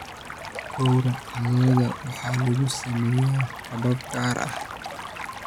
Gowraca lo'da waxaa lagu sameeyaa habab gaar ah.